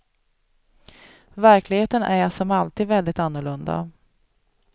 Verkligheten är som alltid väldigt annorlunda.